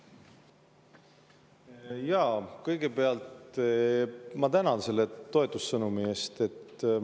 Jaa, kõigepealt ma tänan selle toetussõnumi eest.